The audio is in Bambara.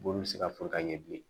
Bon bɛ se ka fɔ ka ɲɛ bilen